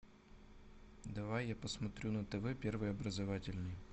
давай я посмотрю на тв первый образовательный